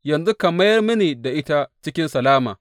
Yanzu ka mayar mini ita cikin salama.